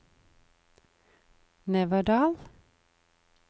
Neverdal